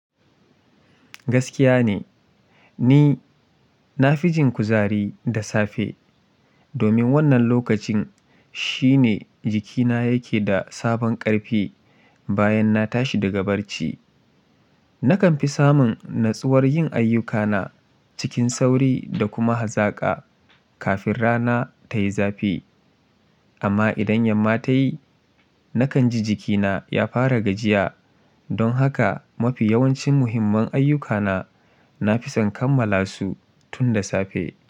Gaskiya ne ni na fi jin kuzari da safe domin wannan lokacin shine jikina yake da sabon ƙarfi bayan na tashi daga barci. Nakan fi samun natsuwar yin ayyukana cikin sauri da kuma hazaƙa kafin rana ta yi zafi. Amma idan yamma ta yi, nakan ji jikina ya fara gajiya don haka mafi yawancin muhimman ayyukana na fi son kammala su tun da safe.